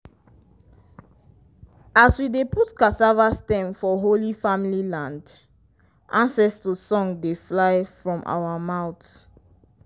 as we dey put cassava stem for holy family land ancestor song dey fly from our mouth.